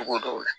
Togo dɔw la